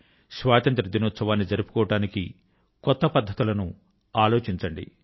స్వాతంత్య్ర దినోత్సవాన్ని జరుపుకోవడానికి కొత్త పద్ధతుల ను ఆలోచించండి